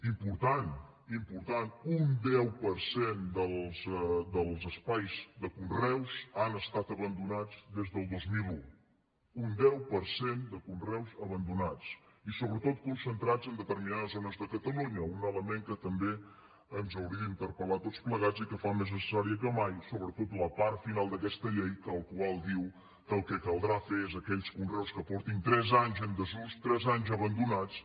important important un deu per cent dels espais de conreus han estat abandonats des del dos mil un un deu per cent de conreus abandonats i sobretot concentrats en determinades zones de catalunya un element que també ens hauria d’interpel·lar a tots plegats i que fa més necessària que mai sobretot la part final d’aquesta llei la qual diu que el caldrà fer és que aquells conreus que faci tres anys que estan en desús tres anys abandonats